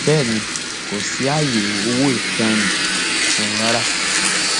bẹẹ ni kò sí ààyè owó ìtanràn fún un rárá